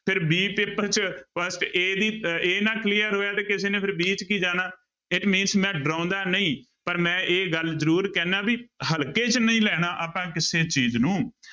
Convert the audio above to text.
ਫਿਰ b paper ਚ first a ਦੀ ਅਹ a ਨਾਲ clear ਹੋਇਆ ਤੇ ਕਿਸੇ ਨੇ ਫਿਰ b ਚ ਕੀ ਜਾਣਾ ਮੈਂ ਡਰਾਉਂਦਾ ਨਹੀਂ ਪਰ ਮੈਂ ਇਹ ਗੱਲ ਜ਼ਰੂਰ ਕਹਿਨਾ ਵੀ ਹਲਕੇ ਚ ਨਹੀਂ ਲੈਣਾ ਆਪਾਂ ਕਿਸੇ ਚੀਜ਼ ਨੂੰ।